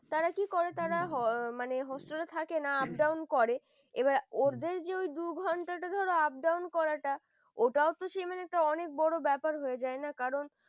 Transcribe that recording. তারা কি করে হম তারা হয় মানে hostel থাকে না up down করে এবার ওর যে দুঘণ্টার ধরার down করাটা ওটাও তো সেই অনেক বড় ব্যাপার হয়ে যায় না কারণ